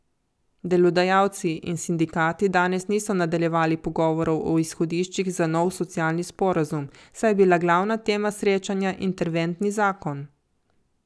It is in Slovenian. Delodajalci in sindikati danes niso nadaljevali pogovorov o izhodiščih za nov socialni sporazum, saj je bil glavna tema srečanja interventni zakon.